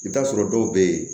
I bɛ t'a sɔrɔ dɔw bɛ yen